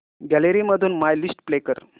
gallery मधून my list play कर